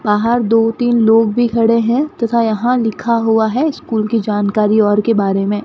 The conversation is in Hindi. बाहर दो तीन लोग भी खड़े हैं तथा यहां लिखा हुआ है स्कूल की जानकारी और के बारे में।